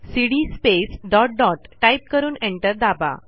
CD space dot dotटाईप करून enter दाबा